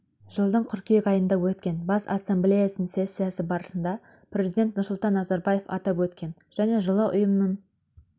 жылдың қыркүйек айында өткен бас ассамблеясының сессиясы барысында президент нұрсұлтан назарбаев атап өткен және жылы ұйымның